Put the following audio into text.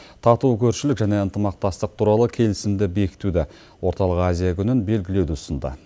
тату көршілік және ынтымақтастық туралы келісімді бекітуді орталық азия күнін белгілеуді ұсынды